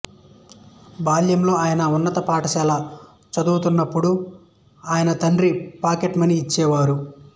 బాల్యంలో ఆయన ఉన్నత పాఠశాల చదువుతున్నప్పుడు ఆయన తండ్రి పాకెట్ మనీ ఇచ్చేవారు